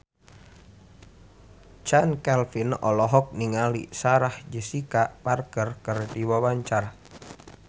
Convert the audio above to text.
Chand Kelvin olohok ningali Sarah Jessica Parker keur diwawancara